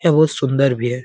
यह बहुत सुन्दर भी है।